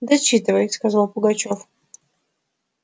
дочитывай сказал пугачёв